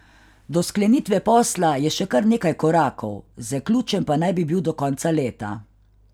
Do sklenitve posla je še kar nekaj korakov, zaključen pa naj bi bil do konca leta.